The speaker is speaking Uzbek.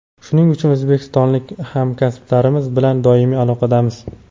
shuning uchun o‘zbekistonlik hamkasblarimiz bilan doimiy aloqadamiz.